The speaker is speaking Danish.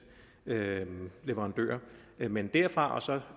leverandører men derfra og så